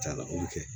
Ca ala o bɛ kɛ